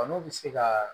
N'u bɛ se ka